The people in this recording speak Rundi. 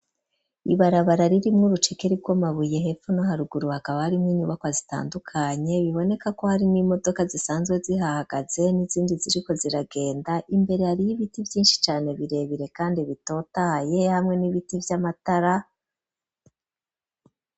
Ibarabara riri mwe urucekeri rw'amabuye hepono haruguru akaba ari mwo inyubako zitandukanye biboneka ko hari nimodoka zisanzwe zihahagaze n'izindi ziriko ziragenda imbere ari y'ibiti byinshi cane birebire kandi bitotahaye hamwe n'ibiti by'amatara.